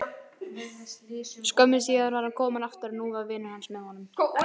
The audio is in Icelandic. Skömmu síðar var hann kominn aftur og nú var vinur hans með honum.